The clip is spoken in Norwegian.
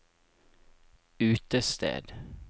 utested